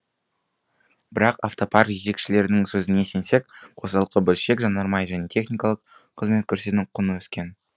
бірақ автопарк жетекшілерінің сөзіне сенсек қосалқы бөлшек жанармай және техникалық қызмет көрсету құны өскен